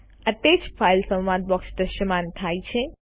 attach files સંવાદ box દ્રશ્યમાન થાય છે